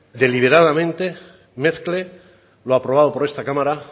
deliberadamente mezcle lo aprobado por esta cámara